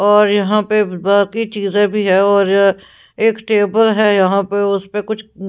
और यहां पर बाकी चीजें भी है और एक टेबल है यहां पर उस पे कुछ--